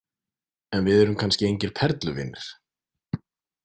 En við erum kannski engir perluvinir.